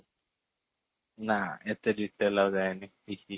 ନା ଏତେ detail ଆଉ ଯାଇନି